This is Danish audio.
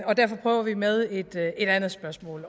og derfor prøver vi med et andet spørgsmål